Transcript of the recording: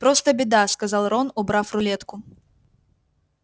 просто беда сказал рон убрав рулетку